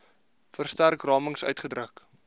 verstrek ramings uitgedruk